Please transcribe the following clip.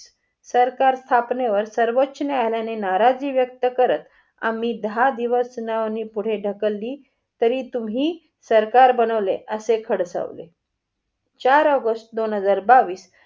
सरकार स्थापनेवर सर्वोचोन्यायालयाने नाराजी व्यक्त करत आम्ही दहा दिवस सुनावणी पुढे धक्कली तरीही तुम्ही सरकार बनवले असे खडसवले. चार ऑगस्ट दोन हजार बावीस.